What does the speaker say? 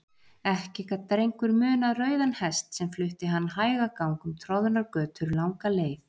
Ekki gat Drengur munað rauðan hest sem flutti hann hægagang um troðnar götur langa leið.